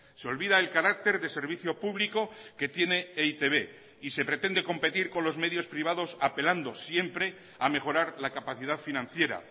se olvida el carácter de servicio público que tiene e i te be y se pretende competir con los medios privados apelando siempre a mejorar la capacidad financiera